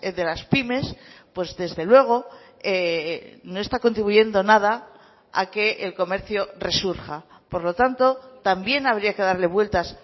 de las pymes pues desde luego no está contribuyendo nada a que el comercio resurja por lo tanto también habría que darle vueltas